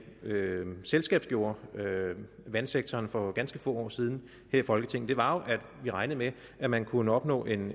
selskabsgjorde vandsektoren for ganske få år siden her i folketinget var jo at vi regnede med at man kunne opnå en